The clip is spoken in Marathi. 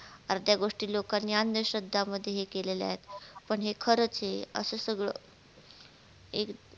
अर्ध्या गोष्टी लोकांनी अंधश्रद्धा मध्ये हे केलेल्या आहेत पण हे खरच हे असं सगळ